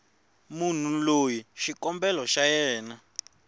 munhu loyi xikombelo xa yena